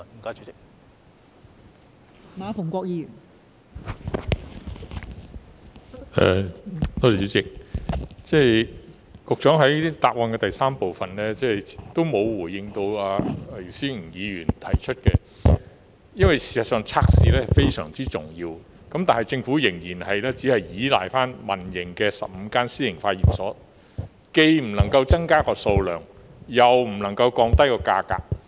局長在主體答覆第三部分沒有回應姚思榮議員提出的質詢，事實上，測試是非常重要，但政府仍然只依賴15間私營化驗所，既不能增加測試數量，又不能夠降低價格。